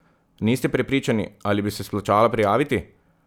Niste prepričani, ali bi se splačalo prijaviti?